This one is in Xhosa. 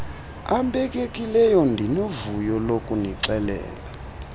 abekekileyo ndinovuyo lokunixelela